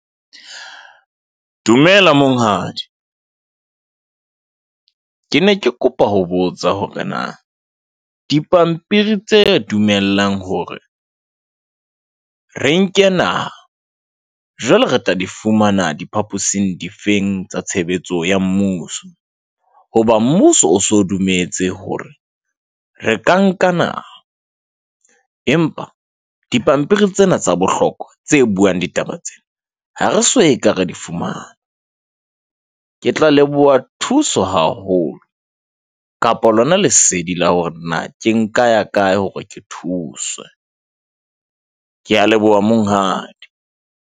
Dumela monghadi. Ke ne ke kopa ho botsa hore na dipampiri tse dumellang hore re nke naha jwale re tla di fumana diphaposing difeng tsa tshebetso ya mmuso. Hoba mmuso o so dumetse hore re ka nkana, empa dipampiri tsena tsa bohlokwa tse buang ditaba tsena, ha re so ka re di fumana. Ke tla leboha thuso haholo kapa lona lesedi la hore na ke nka ya kae hore ke thuswe. Kea leboha monghadi.